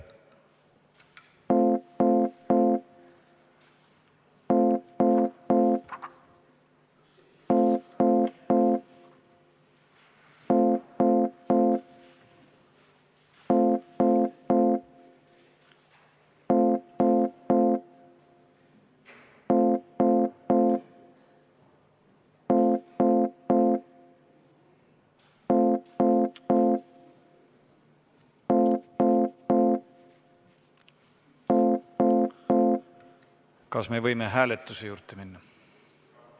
Kas võime hääletuse juurde minna?